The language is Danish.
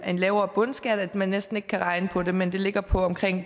en lavere bundskat at man næsten ikke kan regne på det men det ligger på